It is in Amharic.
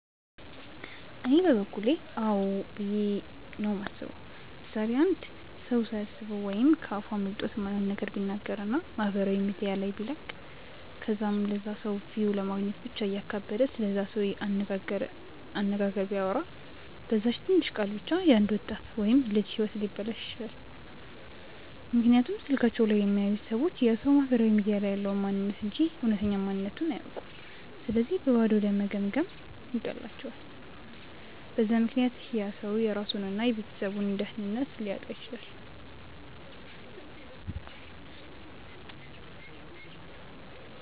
እኔ በበኩሌ አዎ ብዬ ነው የማስበው። ምሳሌ፦ አንድ ሰው ሳያስበው ወይም ከ አፉ አምልጦት የማይሆን ነገር ቢናገር እና ማህበራዊ ሚዲያ ላይ ቢለቅ ከዛም ለላ ሰው ቪው ለማግኘት ብቻ እያካበደ ስለዛ ሰው አነጋገር ቢያወራ፤ በዛች ትንሽ ቃል ብቻ የ አንድ ወጣት ወይም ልጅ ህይወት ሊበላሽ ይችላል፤ ምክንያቱም ስልካቸው ላይ የሚያዩት ሰዎች ያ ሰው ማህበራዊ ሚዲያ ላይ ያለውን ማንንነት እንጂ እውነተኛ ማንነትቱን አያውኩም ስለዚህ በባዶ ለመገምገም ይቀላቸዋል፤ በዛ ምክንያት ያ ሰው የራሱን እና የቤተሰቡን ደህንነት ሊያጣ ይችላል።